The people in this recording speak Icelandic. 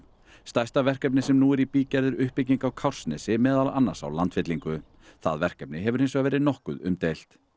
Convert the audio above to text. stærsta verkefnið sem nú er í bígerð er uppbygging á Kársnesi meðal annars á landfyllingu það verkefni hefur hins vegar verið nokkuð umdeilt